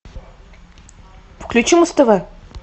включи муз тв